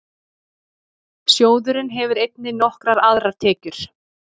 Sjóðurinn hefur einnig nokkrar aðrar tekjur.